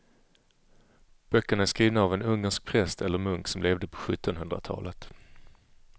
Böckerna är skrivna av en ungersk präst eller munk som levde på sjuttonhundratalet.